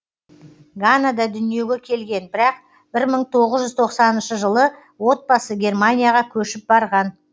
ганада дүниеге келген бірақ бір мың тоғыз жүз тоқсаныншы жылы отбасы германияға көшіп барған